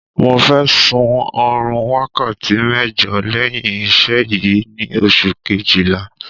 Mo fẹ́ sun oorun wákàtí mẹ́jọ lẹ́yìn iṣẹ́ yìí ni oṣù kejìlá